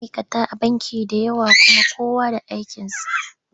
Akwai ma'aika da yawa a banki kuma kowa da aikinsa.